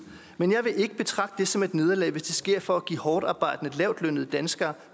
men jeg vil ikke betragte det som et nederlag hvis det sker for at give hårdtarbejdende lavtlønnede danskere